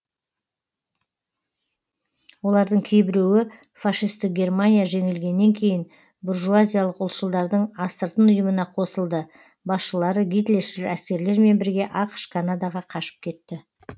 олардың кейбіреуі фашистік германия жеңілгеннен кейін буржуазиялық ұлтшылдардың астыртын ұйымына қосылды басшылары гитлершіл әскерлермен бірге ақш канадаға қашып кетті